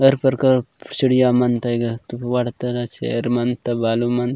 अर पर कर चिड़िया मनते गा तोड़ बड़ चेयर मनते बालू मनत --